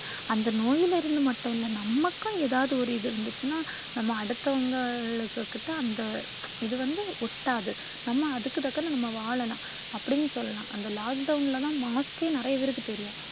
அந்த நோயிலிருந்து மட்டும் இல்ல நமக்கும் ஏதாவது ஒரு இது இருந்துச்சுனா நாம அடுத்தவங்கள் கிட்ட அந்த இது வந்து ஒட்டாது. நாம அதுக்கு தகுந்து நாம வாழலாம். அப்படின்னு சொல்லலாம். அந்த lockdown ல தான் mask கே நிறைய பேருக்கு தெரியும்.